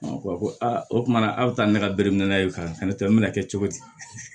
A ko ko aa o kumana a bɛ taa ni ne ka bereminɛ ye ka na ne to n bɛna kɛ cogo di